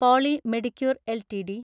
poly Medicure LTD